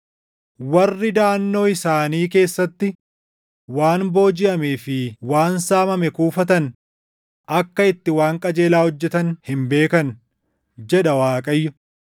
“Warri daʼannoo isaanii keessatti waan boojiʼamee fi // waan saamame kuufatan akka itti waan qajeelaa hojjetan hin beekan” jedha Waaqayyo.